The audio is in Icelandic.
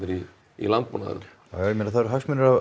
í í landbúnaðinum já ég meina það eru hagsmunir á